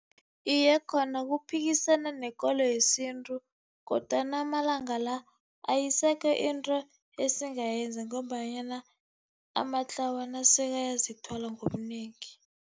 Iye, khona kuphikisana nekolo yesintu kodwana amalanga la ayisekho into esizayenza ngombanyana amatlawana sekayazithwala ngobunengi.